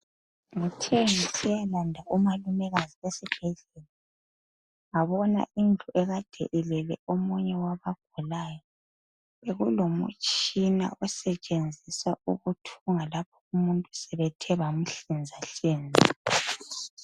Ngithe nsiyalanda umalumekazi esibhedlela ngabona indlu eyinye ekade elele ogulayo bekulomtshina osetshenziswayo ukuthunga lapho umuntu sebethe bamhlinzahlinza.